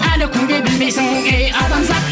әлі күнге білмейсің ей адамзат